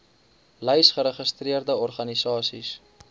lys geregistreerde organisasies